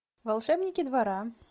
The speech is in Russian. волшебники двора